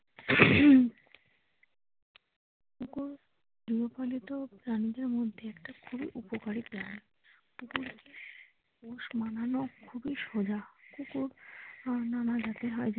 কুকুর গৃহপালিত প্রাণীদের মধ্যে একটা খুবই উপকারী প্রাণী কুকুরকে পোষ মানানো খুবই সোজা কুকুর নানা জাতের হয়।